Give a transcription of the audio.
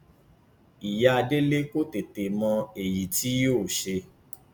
ìyá délé kò tètè mọ èyí tí yóò ṣe